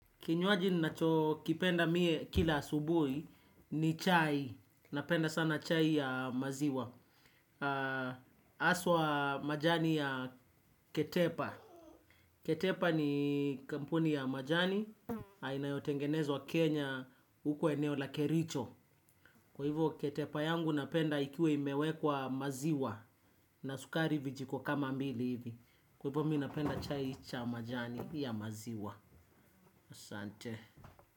Kinywaji ninachokipenda mie kila asubuhi ni chai. Napenda sana chai ya maziwa. Aswa majani ya ketepa. Ketepa ni kampuni ya majani. Inayotengenezwa Kenya huko eneo la kericho. Kwa hivyo ketepa yangu napenda ikiwa imewekwa maziwa. Na sukari vijiko kama mbili hivi. Kwa hivyo mimi napenda chai cha majani ya maziwa. Asante.